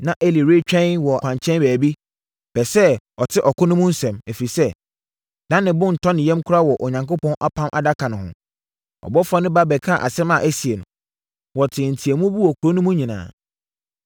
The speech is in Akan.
Na Eli retwɛn wɔ kwankyɛn baabi, pɛ sɛ ɔte ɔko no mu nsɛm, ɛfiri sɛ, na ne bo ntɔ ne yam koraa wɔ Onyankopɔn Apam Adaka no ho. Ɔbɔfoɔ no ba bɛkaa asɛm a asie no, wɔtee nteateamu bi wɔ kuro no mu nyinaa.